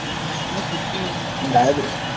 શુદ્ મુક્ત